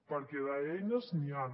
perquè d’eines n’hi han